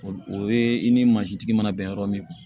O o ye i ni mansintigi mana bɛn yɔrɔ min ma